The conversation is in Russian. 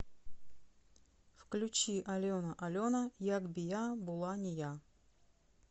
включи алена алена як би я була не я